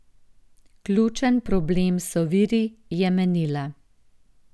Ključen problem so viri, je menila.